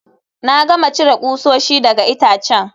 Na gama cire kusoshi daga itacen